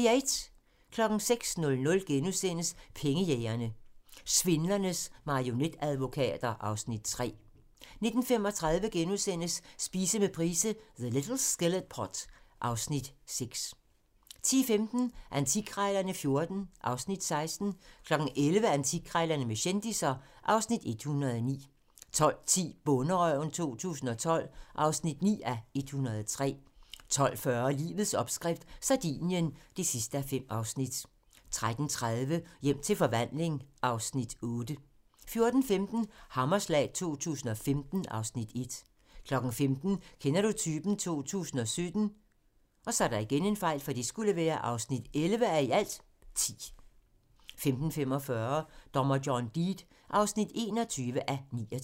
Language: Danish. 06:00: Pengejægerne - Svindlernes marionetadvokater (Afs. 3)* 09:35: Spise med Price - The little skillet pot (Afs. 6)* 10:15: Antikkrejlerne XIV (Afs. 16) 11:00: Antikkrejlerne med kendisser (Afs. 109) 12:10: Bonderøven 2012 (9:103) 12:40: Livets opskrift - Sardinien (5:5) 13:30: Hjem til forvandling (Afs. 8) 14:15: Hammerslag 2015 (Afs. 1) 15:00: Kender du typen? 2017 (11:10) 15:45: Dommer John Deed (21:29)